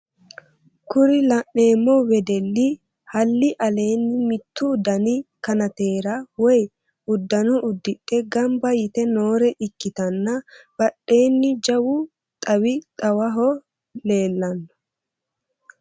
kuri la'neemmo wedelli halli aleenni mittu dani kanateera woy uddanno uddidhe gamba yite noore ikkitanna badhensaanni jawu xawi xawoho lellanno.